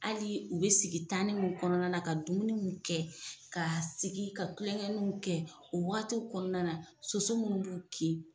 Hali u bɛ sigi ni min kɔnɔna na ka dumuniw mun kɛ, ka sigi ka tulonkɛninw kɛ o waagatiw kɔnɔna na soso mun b'u kin.